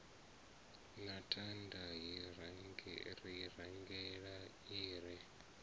na thanda hiraingele i re